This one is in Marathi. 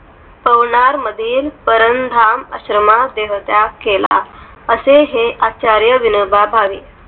पवनार मध्ये परं धाम आश्रमा देहत्याग केला असे हे आचार्य विनोबा भावे.